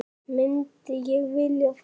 Myndi ég vilja fara?